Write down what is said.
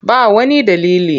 Ba wani dalili.